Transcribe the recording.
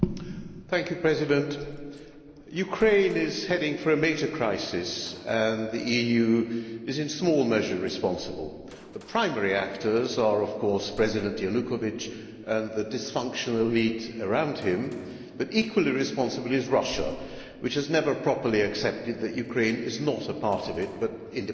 Mr President, Ukraine is heading for a major crisis and the EU is in small measure responsible. The primary actors are of course President Yanukovych and the dysfunctional elite around him but equally responsible is Russia, which has never properly accepted that Ukraine is not a part of it but independent.